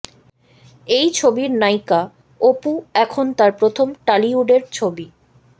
এই ছবির নায়িকা অপু এখন তাঁর প্রথম টালিউডের ছবি